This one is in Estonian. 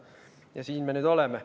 Ja siin me nüüd oleme.